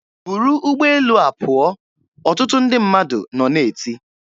"Buru ụgbọelu a pụọ!" ọtụtụ ndị mmadụ nọ na-eti.